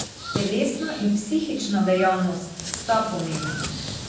Telesna in psihična dejavnost sta pomembni.